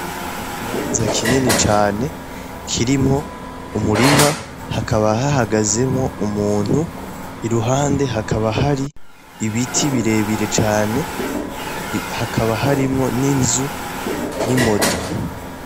Ikibanza kinini cane kirimwo umurima hakaba hahagazemwo umuntu i ruhande hakaba hari ibiti birebire cane hakaba harimwo n'inzu n'imoto.